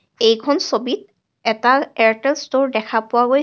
এইখন ছবিত এটা এয়াৰটেল ষ্ট'ৰ দেখা পোৱা গৈছে।